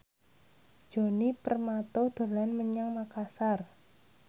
Djoni Permato dolan menyang Makasar